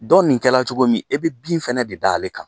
Dɔ nin kɛra cogo min e bɛ bin fɛnɛ de da ale kan.